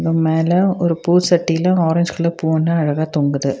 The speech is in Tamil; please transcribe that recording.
மேல ஒரு பூ சட்டியில ஆரஞ்சு கலர் பூ ஒன்னு அழகா தொங்குது.